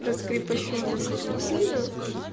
раскрепощённая слишком сильно